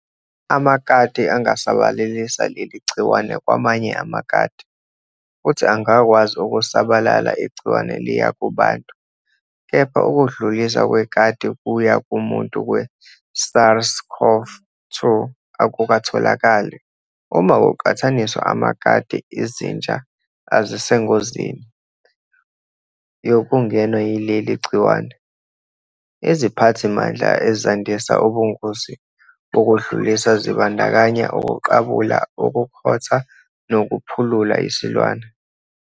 Amakati angasabalalisa leli gciwane kwamanye amakati, futhi angakwazi ukusabalala igciwane liya kubantu, kepha ukudluliswa kwekati-kuya-kumuntu kwe-SARS-CoV-2 akukatholakali. Uma kuqhathaniswa namakati, izinja azisengozini yokungenwa yileli gciwane. Iziphathimandla ezandisa ubungozi bokudlulisa zibandakanya ukuqabula, ukukhotha, nokuphulula isilwane